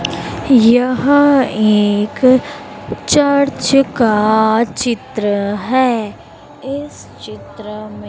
यहां एक चर्च का चित्र है। इस चित्र में--